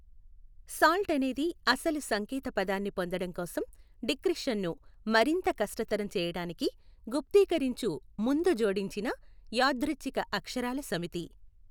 Salt అనేది అసలు సంకేతపదాన్ని పొందడం కోసం డిక్రిప్షన్ను మరింత కష్టతరం చేయడానికి గుప్తీకరించు ముందు జోడించిన యాదృచ్ఛిక అక్షరాల సమితి.